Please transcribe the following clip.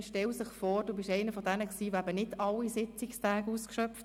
Man stelle sich vor, dass du einer von denen bist, die nicht alle Sitzungstage ausschöpften.